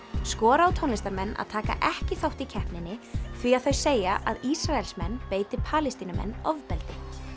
skora á tónlistarmenn að taka ekki þátt í keppninni því að þau segja að Ísraelsmenn beiti Palestínumenn ofbeldi